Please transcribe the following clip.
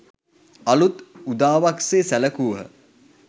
අලූත් උදාවක් සේ සැලකූහ